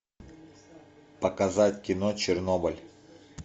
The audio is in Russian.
показать кино чернобыль